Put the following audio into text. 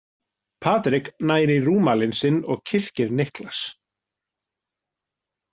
Patrik nær í rúmalinn sinn og kyrkir Niklas.